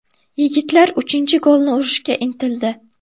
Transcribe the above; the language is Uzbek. Yigitlar uchinchi golni urishga intildi.